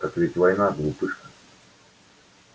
так ведь война глупышка